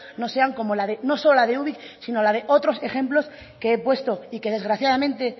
no sean solo como la de ubik sino la de otros ejemplos que he puesto y que desgraciadamente